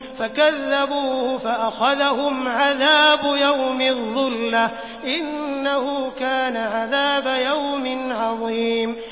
فَكَذَّبُوهُ فَأَخَذَهُمْ عَذَابُ يَوْمِ الظُّلَّةِ ۚ إِنَّهُ كَانَ عَذَابَ يَوْمٍ عَظِيمٍ